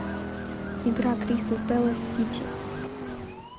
игра кристал пэлас сити